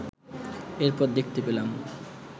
এরপর দেখতে পেলাম